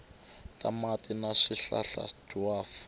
ta mati na swihlahla dwaf